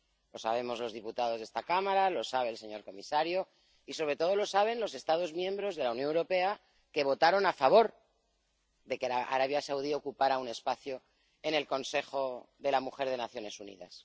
Lo sabemos los diputados de esta Cámara, lo sabe el señor comisario y, sobre todo, lo saben los Estados miembros de la Unión Europea que votaron a favor de que Arabia Saudí ocupará un espacio en el Consejo de la Mujer de Naciones Unidas.